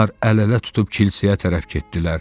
Onlar əl-ələ tutub kilsəyə tərəf getdilər.